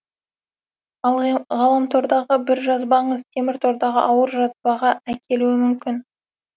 ал ғаламтордағы бір жазбаңыз теміртордағы ауыр жазбаға әкелуі мүмкін